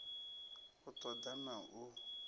u ṱo ḓa na u